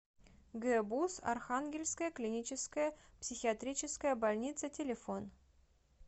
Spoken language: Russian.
гбуз архангельская клиническая психиатрическая больница телефон